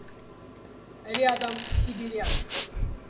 рядом сибирячка